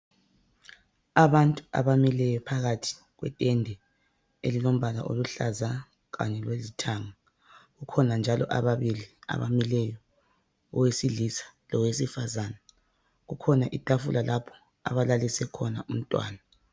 Abantu abamileyo phakathi kwetende elilombala oluhlaza kanye lolithanga kukhona njalo ababili abamileyo owesilisa lowesifazana kukhona itafula lapho abalalise khona umntwana.